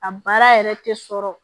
A baara yɛrɛ tɛ sɔrɔ